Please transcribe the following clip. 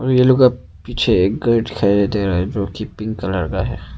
के पीछे एक घर दिखाई दे रहा है जो कि पिंक कलर का है।